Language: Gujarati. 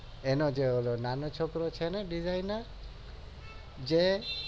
એનો જે ઓલો નાનો છોકરો છે ને disigner જય